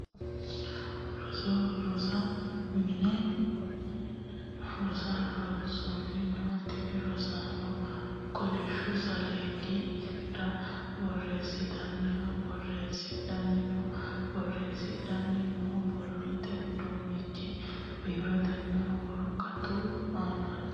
Rosaano rosu mine rosonsa rosanni no. Tinni rosaano kolishu saleedira booreesinoonniha boreesidhanni no. Boreesidhanni noo borrote uduunichi biiretenna woraqatu aannaati.